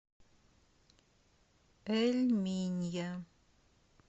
эль минья